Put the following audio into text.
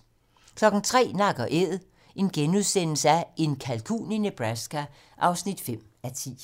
03:00: Nak & Æd - en kalkun i Nebraska (9:10)*